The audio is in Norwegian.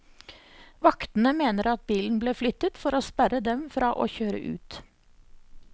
Vaktene mener at bilen ble flyttet for å sperre dem fra å kjøre ut.